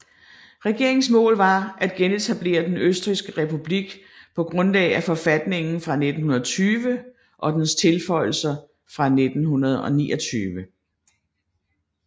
Regeringens mål var at genetablere den østrigske republik på grundlag af forfatningen fra 1920 og dens tilføjelser fra 1929